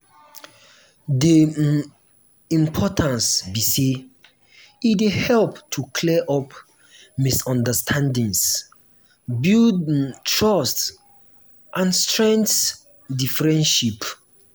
di um importance be say e dey help to clear up misunderstandings build um trust and strengthen di friendship. um